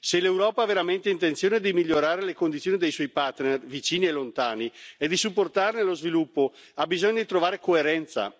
Se l'Europa ha veramente intenzione di migliorare le condizioni dei suoi partner vicini e lontani e di supportarne lo sviluppo, ha bisogno di trovare coerenza.